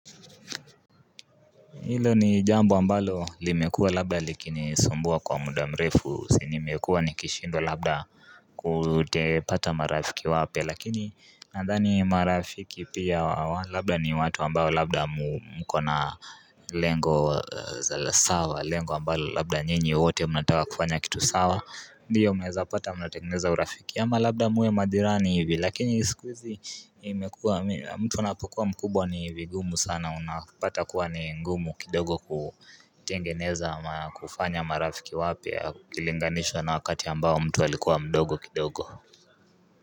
Hilo ni jambo ambalo limekuwa labda likinisumbua kwa muda mrefu si nimekuwa nikishindwa labda kutepata marafiki wapya lakini nandhani marafiki pia labda ni watu ambao labda mkona lengo sawasawa lengo ambalo labda nyinyii wote mnataka kufanya kitu sawa Ndiyo mnezapata mnatengeneza urafiki ama labda muwe majirani hivi lakini sikuhizi imekua mtu unapokuwa mkubwa ni vigumu sana unapata kuwa ni ngumu kidogo kutengeneza kufanya marafiki wapya kulinganishwa na wakati ambao mtu alikuwa mdogo kidogo.